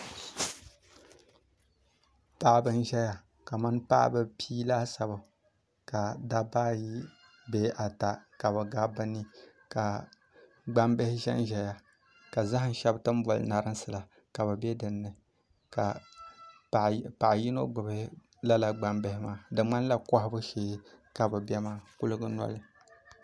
Paɣaba n ʒɛya kamani paɣaba pia laasabu ka dabba ayibee ata ka bi gabi bi ni ka gbambihi ʒɛnʒɛya ka zaham shab ti ni bɔli narinsi la ka bi bɛ dinni ka paɣa yino gbubi lala gbambihi maa di ŋmanila kohabu shee ka bi bɛ maa kuligi nɔli